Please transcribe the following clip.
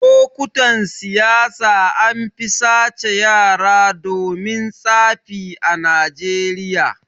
Lokutan siyasa anfi sace yara domin tsafi a najeriya